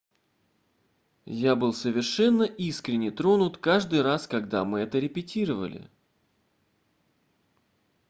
я был совершенно искренне тронут каждый раз когда мы это репетировали